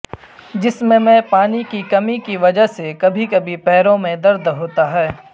جسم میں پانی کی کمی کی وجہ سے کبھی کبھی پیروں میں درد ہوتا ہے